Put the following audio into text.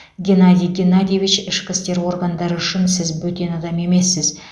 геннадий геннадьевич ішкі істер органдары үшін сіз бөтен адам емессіз